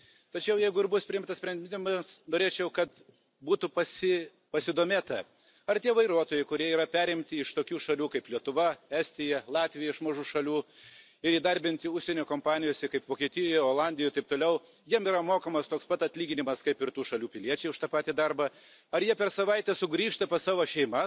Tačiau jeigu ir bus priimtas sprendimas, norėčiau, kad būtų pasidomėta, ar tie vairuotojai, kurie yra perimti iš tokių šalių kaip Lietuva, Estija, Latvija, iš mažų šalių, ir įdarbinti užsienio kompanijose Vokietijoje, Olandijoje ir taip toliau, ar jiems yra mokamos toks pat atlyginimas, kaip ir tų šalių piliečiams už tą patį darbą, ar jie per savaitę sugrįžta pas savo šeimas,